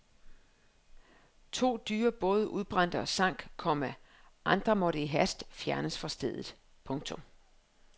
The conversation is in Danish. To dyre både udbrændte og sank, komma andre måtte i hast fjernes fra stedet. punktum